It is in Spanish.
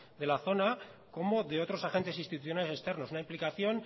de la zona como de otros agentes institucionales externos una implicación